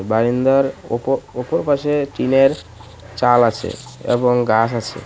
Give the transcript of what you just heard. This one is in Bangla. বারিন্দার অপ-অপর পাশে টিনের চাল আছে এবং গাছ আছে .